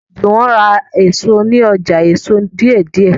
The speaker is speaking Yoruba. Juwon rà èso ní ọjà èso deidei